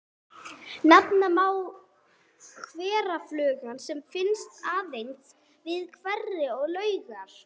Nefna má hverafluguna sem finnst aðeins við hveri og laugar.